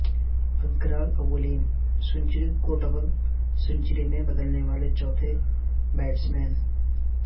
اگروال اولین سنچری کو double century میں بدلنے والے چوتھے بیٹسمین